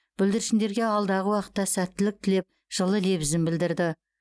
бүлдіршіндерге алдағы уақытта сәттілік тілеп жылы лебізін білдірді